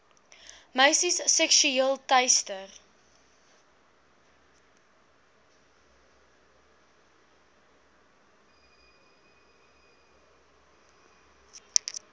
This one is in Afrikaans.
meisies seksueel teister